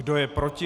Kdo je proti?